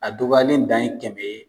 A dɔgɔyalen dan ye kɛmɛ ye